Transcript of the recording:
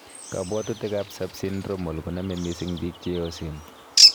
Kabwatutik ab subsyndromal konamee misiing biik cheoseen